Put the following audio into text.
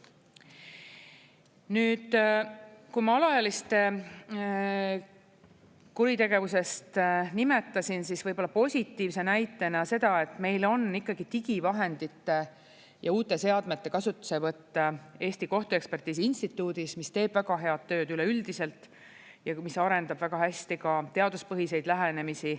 Nüüd, kui ma alaealiste kuritegevust nimetasin, siis positiivse näitena seda, et meil on ikkagi digivahendite ja uute seadmete kasutuselevõtt Eesti Kohtuekspertiisi Instituudis, mis teeb väga head tööd üleüldiselt ja mis arendab väga hästi ka teaduspõhiseid lähenemisi.